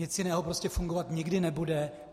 Nic jiného prostě fungovat nikdy nebude.